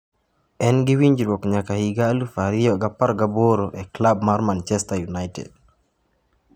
En gi winjruok nyaka higa aluf ariyo gi apar gi aboro e klab mar Manchester United.